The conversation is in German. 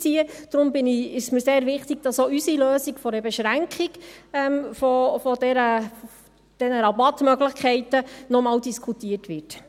Deshalb ist es mir sehr wichtig, dass auch unsere Lösung einer Beschränkung der Rabattmöglichkeiten noch einmal diskutiert wird.